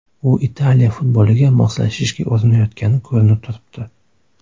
U Italiya futboliga moslashishga urinayotgani ko‘rinib turibdi.